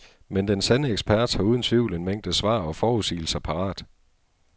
Men den sande ekspert har uden tvivl en mængde svar og forudsigelser parat.